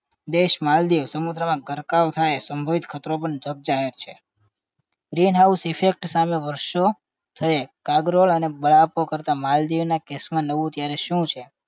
દેશ માલદીવ સમુદ્રમાં ગરકાવ થાય સંભવિત ખતરો પણ જગ જાહેર છે green house effect સામે વર્ષો થયે કાગરોળ અને બળાપો કરતા માલદીવના કેસ માં નવું ત્યારે શું છે